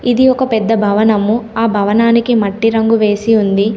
ఇది ఒక పెద్ద భవనము ఆ భవనానికి మట్టి రంగు వేసి ఉంది.